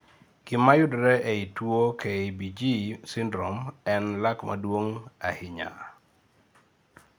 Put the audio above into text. Gima yudore eee tuo KBG syndrome en lakmaduong' ahinya ei